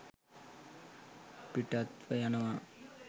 පිටත්ව යනවා